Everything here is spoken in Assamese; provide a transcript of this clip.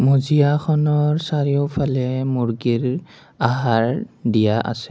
মজিয়াখনৰ চাৰিওফালে মূৰ্গীৰ আহাৰ দিয়া আছে।